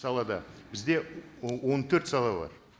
салада бізде он төрт сала бар